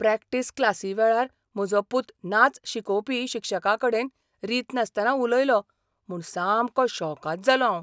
Practice क्लासीवेळार म्हजो पुत नाच शिकोवपी शिक्षकाकडेन रीत नासतना उलयलो म्हूण सामको शॉकाद जालो हांव.